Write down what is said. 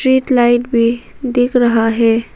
Street light भी दिख रहा है।